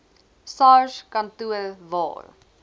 sars kantoor waar